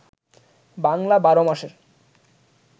বাংলা ১২ মাসের